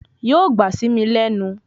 Yóò gbọ́ sí mi lẹ́nu